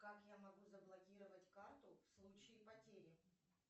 как я могу заблокировать карту в случае потери